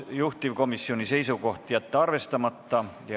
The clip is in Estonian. Juhtivkomisjoni seisukoht: jätta arvestama.